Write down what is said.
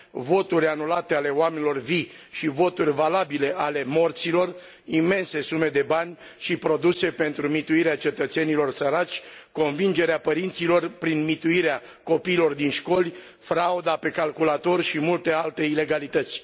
voturi anulate ale oamenilor vii și voturi valabile ale morților, imense sume de bani și produse pentru mituirea cetățenilor săraci, convingerea părinților prin mituirea copiilor din școli, frauda pe calculator și multe alte ilegalități.